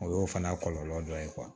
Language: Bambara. O y'o fana kɔlɔlɔ dɔ ye